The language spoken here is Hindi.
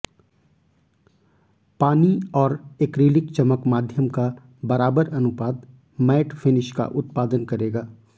पानी और एक्रिलिक चमक माध्यम का बराबर अनुपात मैट फिनिश का उत्पादन करेगा